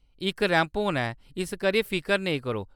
इक रैंप होना ऐ, इस करियै फिकर नेईं करो।